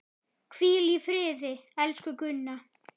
Hvíl í friði, elsku Gunna.